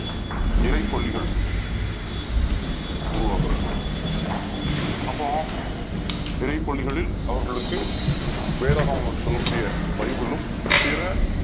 இறைப் பள்ளிகள் உருவாக்குகிறார் அப்போ இறைப் பள்ளிகளில் அவர் களுக்கு வேத நூல் என்று சொல்லக் கூடிய பைபிளும் பிற